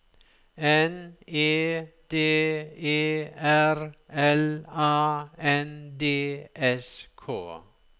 N E D E R L A N D S K